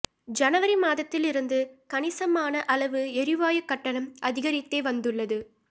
ஜனவரி மாதத்தில் இருந்து கணிசமான அளவு எரிவாயுக் கட்டணம் அதிகரித்தே வந்துள்ளது